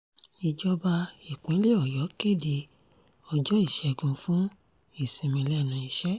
ìjọba ìpínlẹ̀ ọ̀yọ́ kéde ọjọ́ ìṣègùn fún ìsinmi lẹ́nu iṣẹ́